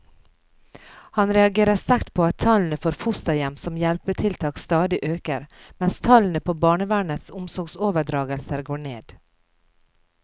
Han reagerer sterkt på at tallene for fosterhjem som hjelpetiltak stadig øker, mens tallene på barnevernets omsorgsoverdragelser går ned.